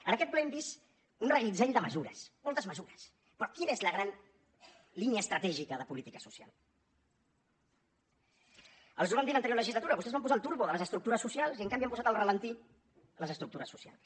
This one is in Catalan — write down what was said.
en aquest ple hem vist un reguitzell de mesures moltes mesures però quina és la gran línia estratègica de política social els ho vam dir l’anterior legislatura vostès van posar el turbo de les estructures socials i en canvi han posat al ralentí les estructures socials